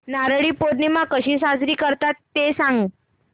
नारळी पौर्णिमा कशी साजरी करतात ते सांग